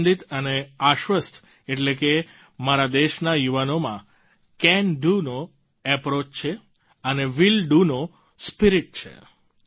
આનંદિત અને આશ્વસ્થ એટલે કે મારા દેશના યુવાનોમાં કેન Doનો એપ્રોચ છે અને વિલ ડીઓ નો સ્પિરિટ છે